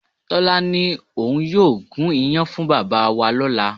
Tọ́lá ní òun yóò gún iyán fún bàbá wa lọ́la